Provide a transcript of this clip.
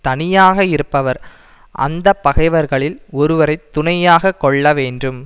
தனியாக இருப்பவர் அந்த பகைவர்களில் ஒருவரை துணையாக கொள்ள வேண்டும்